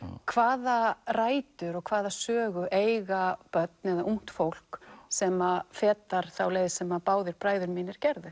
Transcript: hvaða rætur og hvaða sögu eiga börn eða ungt fólk sem að fetar þá leið sem að báðir bræður mínir gerðu